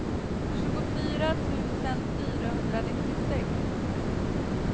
tjugofyra tusen fyrahundranittiosex